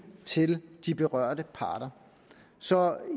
til de berørte parter så